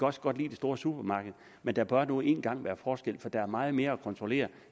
også godt lide det store supermarked men der bør nu engang være forskel for der er meget mere at kontrollere